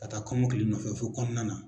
Ka taa kɔmɔkili nɔfɛ fɔ kɔnɔna na.